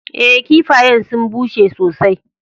Eh, kiffayen sun busher sosai.